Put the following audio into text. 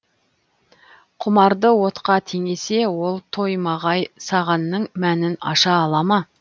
құмарды отқа теңесе ол тоймағай сағанның мәнін аша ала ма